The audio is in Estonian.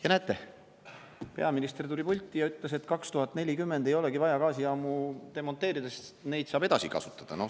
Ja näete: peaminister tuli pulti ja ütles, et 2040 ei olegi vaja gaasijaamu demonteerida, sest neid saab edasi kasutada.